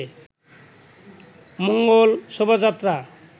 Mangal Shobhajatra